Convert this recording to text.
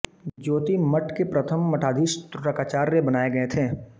ज्योतिर्मठ के प्रथम मठाधीश त्रोटकाचार्य बनाए गए थे